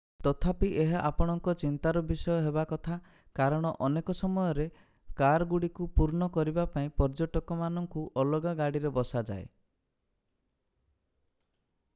ତଥାପି ଏହା ଆପଣଙ୍କ ଚିନ୍ତାର ବିଷୟ ହେବା କଥା କାରଣ ଅନେକ ସମୟରେ କାରଗୁଡ଼ିକୁ ପୂର୍ଣ୍ଣ କରିବା ପାଇଁ ପର୍ଯ୍ୟଟକମାନଙ୍କୁ ଅଲଗା ଗାଡ଼ିରେ ବସାଯାଏ